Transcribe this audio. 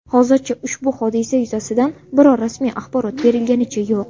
Hozircha ushbu hodisa yuzasidan biror rasmiy axborot berilganicha yo‘q.